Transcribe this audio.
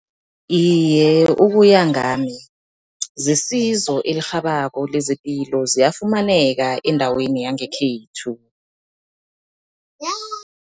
Iye, ukuya ngami zesizo elirhabako lezepilo ziyafumaneka endaweni yangekhethu.